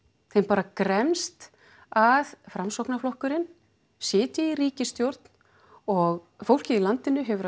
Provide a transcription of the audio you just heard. þeim bara gremst að Framsóknarflokkurinn sitji í ríkisstjórn og fólkið í landinu hefur